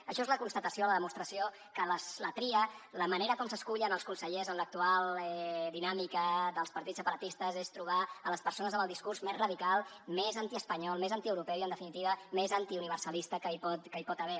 això és la constatació la demostració que la tria la manera com s’escullen els consellers en l’actual dinàmica dels partits separatistes és per trobar a les persones amb el discurs més radical més antiespanyol més antieuropeu i en definitiva més antiuniversalista que hi pot haver